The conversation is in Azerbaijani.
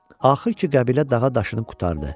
Axır ki qəbilə dağı daşını qurtardı.